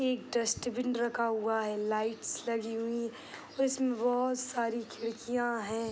एक डस्टबिन रखा हुआ है लाइट्स लगी हुई हैं और उसमें बहुत सारे खिड़कियाँ हैं।